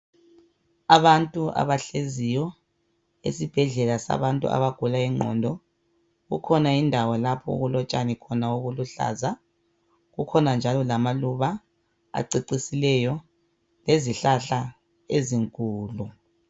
Abantu abahleziyo esibhedlela sabantu abagula ingqondo kukhona indawo lapho okulotshani khona obuluhlaza kukhona njalo lamaluba acecisileyo lezihlahla ezinkulu.